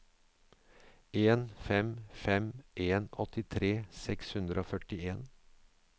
en fem fem en åttitre seks hundre og førtien